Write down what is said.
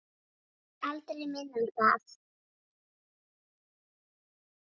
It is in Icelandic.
Aldrei minna en það.